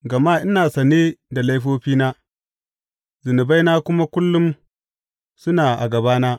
Gama ina sane da laifofina zunubaina kuma kullum suna a gabana.